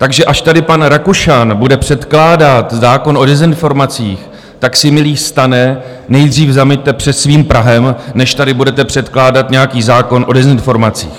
Takže až tady pan Rakušan bude předkládat zákon o dezinformacích, tak si, milý STANe, nejdřív zameťte před svým prahem, než tady budete předkládat nějaký zákon o dezinformacích.